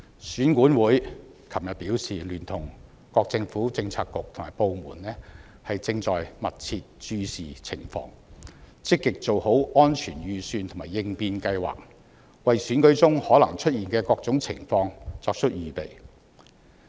選舉管理委員會昨天表示，已聯同各政策局和部門密切注視情況，積極做好安全預算和應變計劃，就選舉中可能出現的各種情況作出預備。